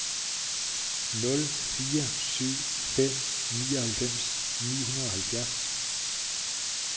nul fire syv fem nioghalvfems ni hundrede og halvfjerds